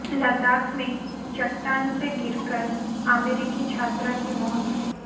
लद्दाख में चट्टान से गिरकर अमेरिकी छात्रा की मौत